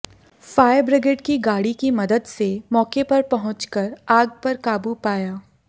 fire brigade की गाड़ी की मदद से मौके पर पहुंचकर आग पर काबू पाया